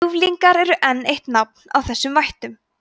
ljúflingar er enn eitt nafn á þessum vættum